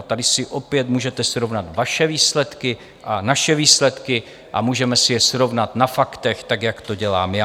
A tady si opět můžete srovnat vaše výsledky a naše výsledky a můžeme si je srovnat na faktech tak, jak to dělám já.